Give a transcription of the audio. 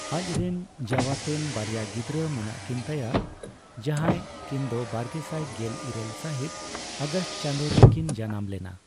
ᱟᱡᱨᱮᱱ ᱡᱟᱣᱟᱛᱮᱱ ᱵᱟᱨᱭᱟ ᱜᱤᱫᱽᱨᱟᱹ ᱢᱮᱱᱟᱜ ᱠᱤᱱ ᱛᱟᱭᱟ ᱡᱟᱦᱟᱸᱭ ᱠᱤᱱᱫᱚ ᱵᱟᱨᱜᱮᱥᱟᱭ ᱜᱮᱞ ᱤᱨᱟᱹᱞ ᱥᱟᱹᱦᱤᱛ ᱟᱜᱚᱥᱴ ᱪᱟᱸᱫᱳ ᱨᱮ ᱠᱤᱱ ᱡᱟᱱᱟᱢ ᱞᱮᱱᱟ ᱾